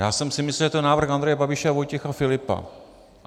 Já jsem si myslel, že to je návrh Andreje Babiše a Vojtěcha Filipa.